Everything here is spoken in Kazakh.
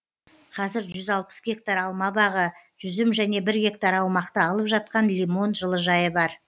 қазір жүз алпыс гектар алма бағы жүзім және бір гектар аумақты алып жатқан лимон жылыжайы бар